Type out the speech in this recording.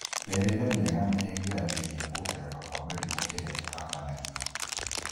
Mĩrĩĩre mĩega nĩ ĩgiragĩrĩria kuongereka kwa mĩrimũ ĩrĩa ĩtahonagwo.